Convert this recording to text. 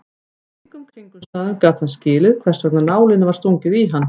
Undir engum kringumstæðum gat hann skilið hversvegna nálinni var stungið í hann.